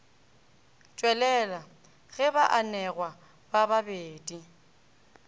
tšwelela ge baanegwa ba babedi